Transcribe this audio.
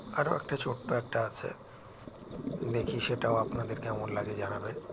আরও একটা ছোট্টো একটা আছে দেখি সেটা আপনাদের কেমন লাগে জানাবেন